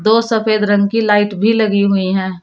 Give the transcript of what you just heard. दो सफेद रंग की लाइट भी लगी हुई है।